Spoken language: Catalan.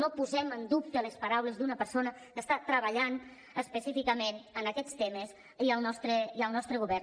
no posem en dubte les paraules d’una persona que està treballant específicament en aquests temes i al nostre govern